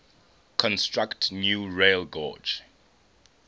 construct new railgauge